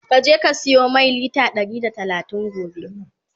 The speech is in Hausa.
ka je ka siyo Mai litre Ɗari da talatin gobe!